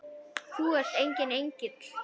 Þú ert enginn engill.